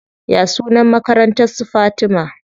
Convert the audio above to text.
Ya sunan makarantar su Fatima?